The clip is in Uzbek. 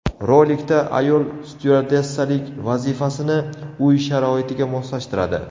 Rolikda ayol styuardessalik vazifasini uy sharoitiga moslashtiradi.